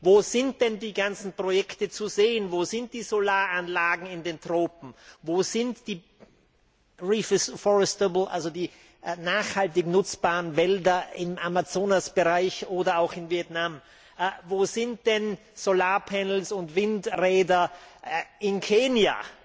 Wo sind denn die ganzen Projekte zu sehen, wo sind die Solaranlagen in den Tropen, wo sind die nachhaltig nutzbaren Wälder im Amazonasgebiet oder auch in Vietnam, wo sind denn Solarpanels und Windräder in Kenia?